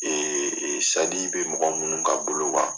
Ee sadi bɛ mɔgɔ minnu ka bolo kan